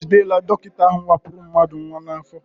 E jidela dọkịta ahụ wepụrụ mmadụ nnwa n'afọ.